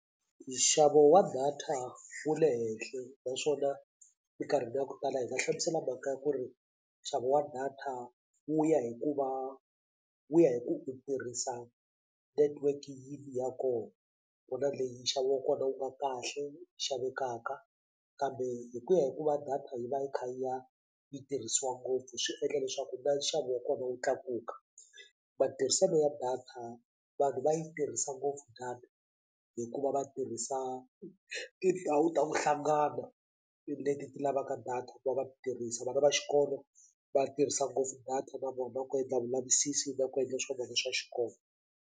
Nxavo wa data wu le henhla naswona minkarhini ya ku tala hi nga hlamusela mhaka ya ku ri nxavo wa data wu ya hi ku va wu ya hi ku u tirhisa network yini ya kona ku na leyi nxavo wa kona wu nga kahle yi xavekaka kambe hi ku ya hi ku va data yi va yi kha yi ya yi tirhisiwa ngopfu swi endla leswaku na nxavo wa kona wu tlakuka matirhiselo ya data vanhu va yi tirhisa ngopfu data hikuva va tirhisa tindhawu ta ku hlangana leti ti lavaka data ku va va tirhisa vana va xikolo va tirhisa ngopfu data na vona ku endla vulavisisi na ku endla swa vona swa xikolo.